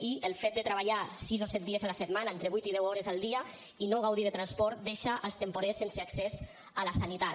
i el fet de treballar sis o set dies a la setmana entre vuit i deu hores al dia i no gaudir de transport deixa els temporers sense accés a la sanitat